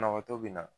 Banabaatɔ be na